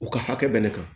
U ka hakɛ bɛ ne kan